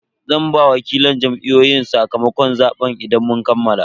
Zan ba wakilan Jam'iyyun sakamakon zaben idan mun kammala.